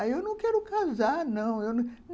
Aí eu não quero casar, não. Eu